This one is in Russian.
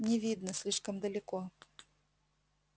не видно слишком далеко